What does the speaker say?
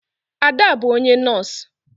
Ada bu onye nọs.